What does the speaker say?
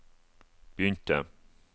begynte